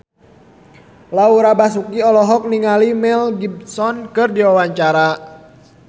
Laura Basuki olohok ningali Mel Gibson keur diwawancara